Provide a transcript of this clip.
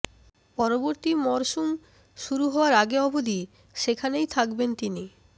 পরবর্তী মরশুম শুরু হওয়ার আগে অবধি সেখানেই থাকবেন তিনি